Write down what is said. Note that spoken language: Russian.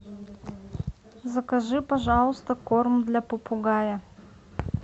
закажи пожалуйста корм для попугая